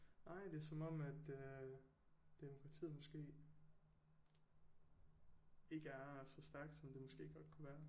Nej det er som om at øh demokratiet måske ikke er så stærkt som det måske godt kunne være